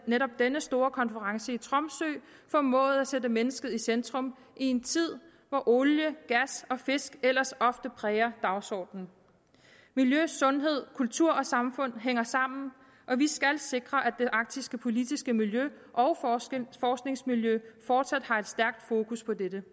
at netop den store konference i tromsø formåede at sætte mennesket i centrum i en tid hvor olie gas og fisk ellers ofte præger dagsordenen miljø sundhed kultur og samfund hænger sammen og vi skal sikre at det arktiske politiske miljø og forskningsmiljø fortsat har et stærkt fokus på dette